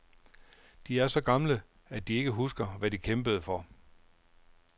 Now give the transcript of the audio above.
De er så gamle, at de ikke husker, hvad de kæmpede for.